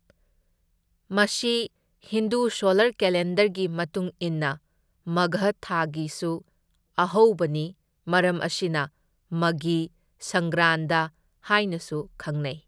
ꯃꯁꯤ ꯍꯤꯟꯗꯨ ꯁꯣꯂꯔ ꯀꯦꯂꯦꯟꯗꯔꯒꯤ ꯃꯇꯨꯡ ꯏꯟꯅ ꯃꯥꯘꯥ ꯊꯥꯒꯤꯁꯨ ꯑꯍꯧꯕꯅꯤ, ꯃꯔꯝ ꯑꯁꯤꯅ ꯃꯘꯤ ꯁꯪꯒ꯭ꯔꯥꯟꯗ ꯍꯥꯏꯅꯁꯨ ꯈꯪꯅꯩ꯫